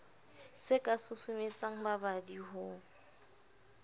se ka susumetsang babadi ho